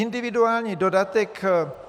Individuální dodatek.